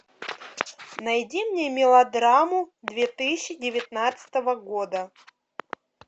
найди мне мелодраму две тысячи девятнадцатого года